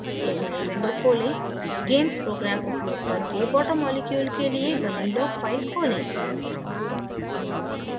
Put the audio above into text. एक नयी window खोलें gamess programme उपयोग करके water मॉलिक्यूल के लिए बनी log file खोलें